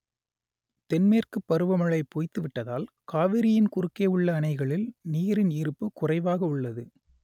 தென்மேற்குப் பருவமழை பொய்த்துவிட்டதால் காவிரியின் குறுக்கே உள்ள அணைகளில் நீரின் இருப்பு குறைவாக உள்ளது